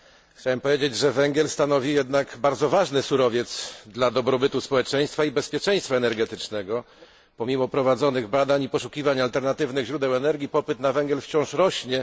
Chciałem powiedzieć, że węgiel stanowi bardzo ważny surowiec dla dobrobytu społeczeństwa i bezpieczeństwa energetycznego. Pomimo prowadzonych badań i poszukiwań alternatywnych źródeł energii popyt na węgiel wciąż rośnie.